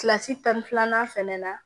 Kilasi tan ni filanan fɛnɛ na